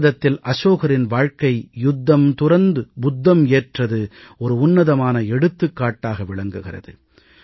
பாரதத்தில் அசோகரின் வாழ்க்கை யுத்தம் துறந்து புத்தம் ஏற்றது உன்னதமான எடுத்துக்காட்டாக விளங்குகிறது